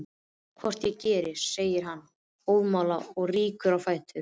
Hvort ég geri, segir hann óðamála og rýkur á fætur.